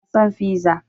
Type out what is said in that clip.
Ina son fiza